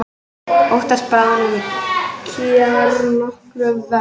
Óttast bráðnun kjarnorkuvers